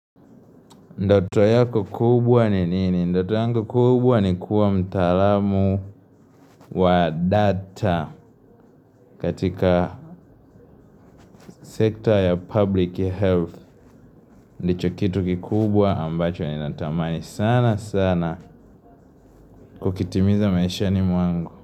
Ndoto yako kubwa ni nini? Ndoto yangu kubwa ni kuwa mtaalamu wa data katika sekta ya 'public health'. Ndicho kitu kikubwa ambacho ninatamani sana sana kukitimiza maishani mwangu.